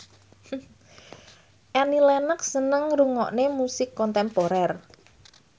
Annie Lenox seneng ngrungokne musik kontemporer